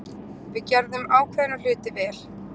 Við gerðum ákveðna hluti vel.